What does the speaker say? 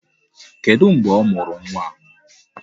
Kedụ mgbe a mụrụ nwa a?